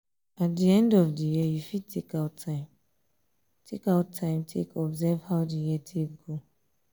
at di end of di day you fit take out time take out time observe how the life take go